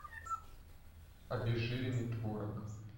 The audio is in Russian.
обезжиренный творог